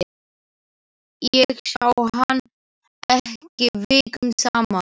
Ég sá hann ekki vikum saman.